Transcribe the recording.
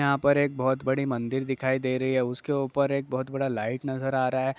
यहाँ पर एक बहोत बड़ी मंदिर दिखाई दे रही है उसके ऊपर एक बहोत बड़ा लाइट नजर आ रहा है।